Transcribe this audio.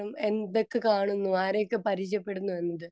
speaker 2 എന്തൊക്കെ കാണുന്നു ആരെയൊക്കെ പരിചയപ്പെടുന്നു എന്നത്